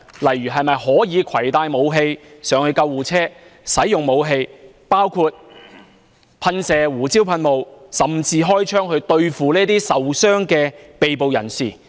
例如可否攜帶武器登上救護車，以及使用武器，包括噴射胡椒噴霧，甚至開槍，對付受傷的被捕人士？